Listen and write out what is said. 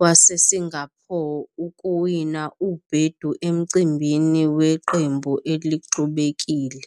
waseSingapore ukuwina ubhedu emcimbini weqembu elixubekile.